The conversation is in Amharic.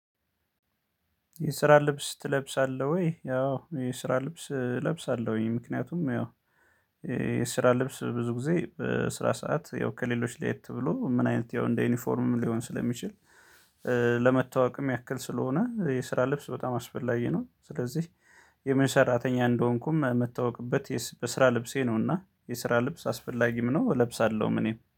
የስራ ልብስ ትለብሳለህ ወይ? ያው የስራ ልብስ እለብሳለሁኝ ምክንያቱም ያው የስራ ልብስ ብዙ ጊዜ በስራ ሰዓት ያው ከሌሎች ሌየት ብሎ ምን አይነት ያው እንደ ዩኒፎርም ሊሆን ስለሚችል ለመታወቅም ያክል ስለሆነ የስራ ልብስ በጣም አስፈላጊ ነው። ስለዚህ የምን ሰራተኛ እንደሆንኩም የምታውቅበት በስራ ልብሴ ነው። እና የስራ ልብስ አስፈላጊም ነው እለብሳለሁም እኔም